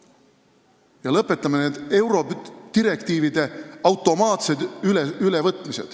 Ja lõpetame eurodirektiivide automaatse ülevõtmise.